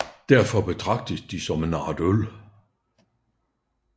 Derfor betragtets de som en art øl